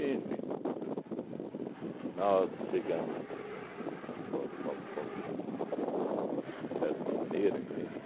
nós chegamos ãh, fo fo fomos dessa maneira, entende?